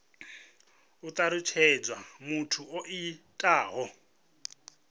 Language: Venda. ho talutshedzwa muthu o itaho